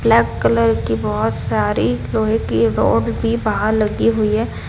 Black colour की बहोत सारी लोहे की रॉड भी बाहर लगी हुई है।